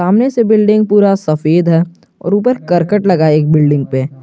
सामने से बिल्डिंग पूरा सफेद है और ऊपर करकट लगा एक बिल्डिंग पे।